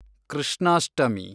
Krishnashtami